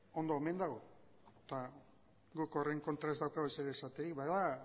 ondo omen dago eta guk horren kontra ez daukagu ezer esaterik bada